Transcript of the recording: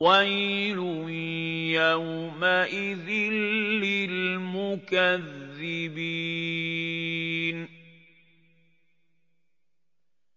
وَيْلٌ يَوْمَئِذٍ لِّلْمُكَذِّبِينَ